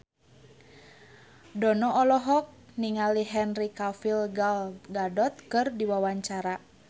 Dono olohok ningali Henry Cavill Gal Gadot keur diwawancara